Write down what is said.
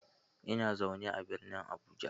Ina zaune a birnin Abuja.